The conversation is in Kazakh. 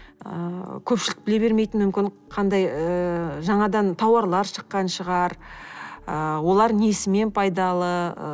ыыы көпшілік біле бермейтін мүмкін қандай ыыы жаңадан тауарлар шыққан шығар ы олар несімен пайдалы ы